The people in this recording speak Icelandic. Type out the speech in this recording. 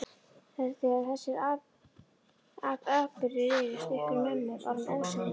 Þegar þessir atburðir rifjuðust upp fyrir ömmu var hún óseðjandi.